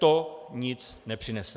To nic nepřinese.